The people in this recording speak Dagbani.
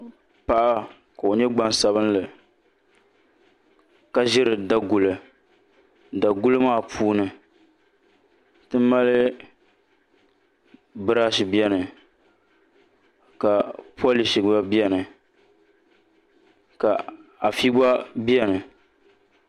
Paɣa ka o nyɛ gbaŋsabinli ka ʒiri Daguli daguli maa puuni ti mali birash biɛni ka polish gba biɛni ka afi gba biɛni